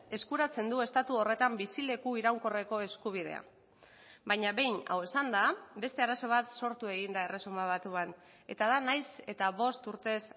eskuratzen du estatu horretan bizileku iraunkorreko eskubidea baina behin hau esanda beste arazo bat sortu egin da erresuma batuan eta da nahiz eta bost urtez